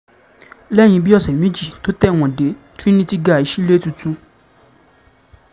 lẹ́yìn bíi ọ̀sẹ̀ méjì tó tẹ̀wọ̀n dé trinity guy sílẹ̀ tuntun